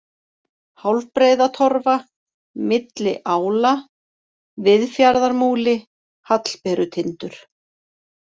Hálfbreiðatorfa, Milli ála, Viðfjarðarmúli, Hallberutindur